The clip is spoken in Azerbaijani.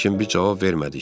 Lakin biz cavab vermədik.